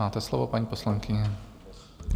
Máte slovo, paní poslankyně.